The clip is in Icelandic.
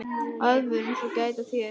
Aðvörun svo gæt að þér.